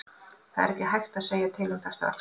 Það er ekki hægt að segja til um það strax.